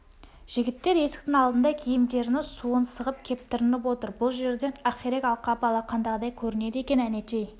жігіттер есіктің алдында киімдерінің суын сығып кептірініп отыр бұл жерден ақирек алқабы алақандағыдай көрінеді екен әнетей